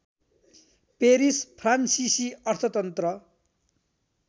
Paris फ्रान्सिसी अर्थतन्त्र